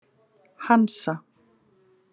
Hansa